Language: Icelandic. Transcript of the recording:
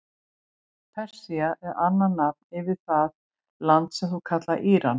Persía er annað nafn yfir það land sem nú kallast Íran.